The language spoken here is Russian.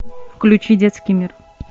включи детский мир